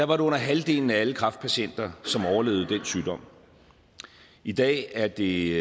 var det under halvdelen af alle kræftpatienter som overlevede den sygdom i dag er det